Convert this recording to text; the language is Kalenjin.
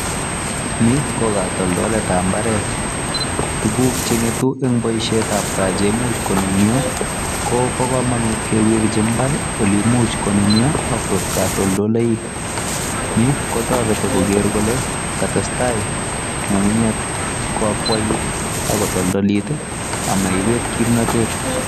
Ni ko kotoltoletab mbaret. Tuguk che ng'etu en boisietab gaa che imuch konunyo ko bo komonut kewerji mbar ole imuch konunyo ak koik katoltoleiwek. Ni kotoreti koger kole katestai ng'ung'unyek ko akwait ak kotoltolit ama ibet kimnatet.